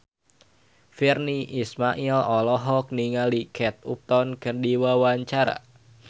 Virnie Ismail olohok ningali Kate Upton keur diwawancara